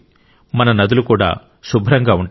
మన నదులు కూడా శుభ్రంగా ఉంటాయి